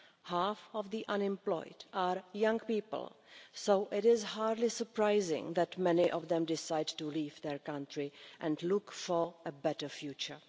Half of the unemployed are young people so it is hardly surprising that many of them decide to leave their country and look for a better future.